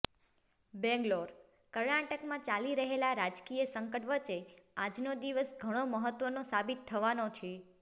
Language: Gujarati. બેંગ્લોરઃ કર્ણાટકમાં ચાલી રહેલા રાજકીય સંકટ વચ્ચે આજનો દિવસ ઘણો મહત્વનો સાબિત થવાનો છે